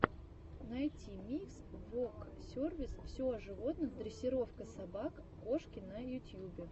найти микс воксервис все о животных дрессировка собак кошки на ютьюбе